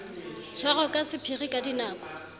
tshwarwa ka sephiri ka dinako